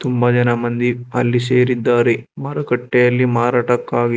ತುಂಬಾ ಜನ ಮಂದಿ ಅಲ್ಲಿ ಸೇರಿದ್ದಾರೆ ಮಾರುಕಟ್ಟೆಯಲ್ಲಿ ಮಾರಾಟಕ್ಕಾಗಿ--